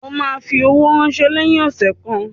O ma fi owó ránsẹ́ lẹ́yìn ọ̀sẹ̀ kan